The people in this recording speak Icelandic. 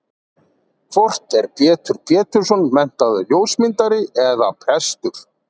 Hvort er Pétur Pétursson menntaður ljósmyndari eða prestur?